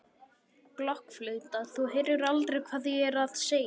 blokkflauta, þú heyrir aldrei hvað ég er að segja.